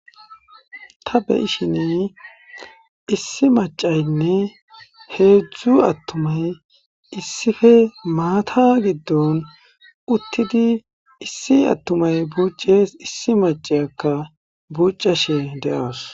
Ta beshin issi maccaynne hezhzhu atumay issippe maata giddon uttidi issi atumay bucces issi macciyakka buccashe de'awusu.